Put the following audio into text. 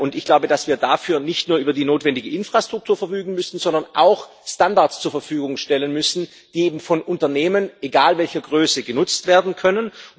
Und ich glaube, dass wir dafür nicht nur über die notwendige Infrastruktur verfügen müssen, sondern auch Standards zur Verfügung stellen müssen, die eben von Unternehmen egal welcher Größe genutzt werden können.